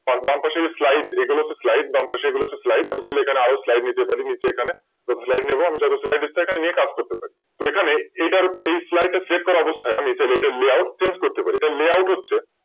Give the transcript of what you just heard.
তার বাম পাশে এগুলো হচ্ছে Slide বাম পাশে এগুলো হচ্ছে Slide আমি তাহলে এখানে আরো Slide নিতে পারি কিন্তু এখানে তো Slide নেব আমি যথেষ্ট Slide নিয়ে এখানে কাজ করতে পারি। তো এখানে এই Slide টা Save করা অবস্থায় এটার Layout choose করতে পারি Layout হচ্ছে